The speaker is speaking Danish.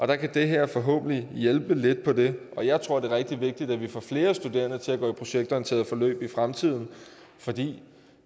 der kan det her forhåbentlig hjælpe lidt på det jeg tror det er rigtig vigtigt at vi får flere studerende til at gå i projektorienterede forløb i fremtiden fordi